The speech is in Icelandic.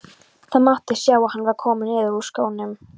Það mátti sjá að hann var kominn niður úr skónum.